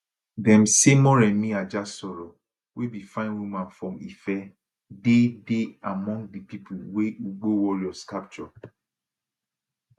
dem say moremi ajasoro wey be fine woman from ife dey dey among di pipo wey ugbo warriors capture